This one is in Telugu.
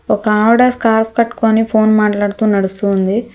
ఒక ఆవిడ స్కార్ఫ్ కట్టుకొని ఫోన్ మాట్లాడుతూ నడుస్తూ ఉంది.